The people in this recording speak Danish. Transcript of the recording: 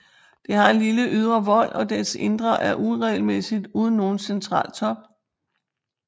Det har en lille ydre vold og dets indre er uregelmæssigt uden nogen central top